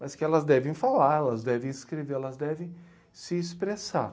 Mas que elas devem falar, elas devem escrever, elas devem se expressar.